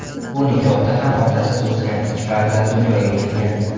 Bu nikohda ham otasiz o‘sgan ikki farzand dunyoga kelgan.